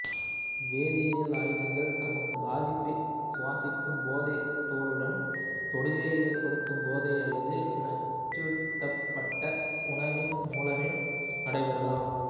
வேதியியல் ஆயுதங்கள் தமது பாதிப்பை சுவாசிக்கும் போதோ தோலுடன் தொடுகை ஏற்படுத்தும் போதோ அல்லது நச்சூட்டப்பட்ட உணவின் மூலமோ நடைபெறலாம்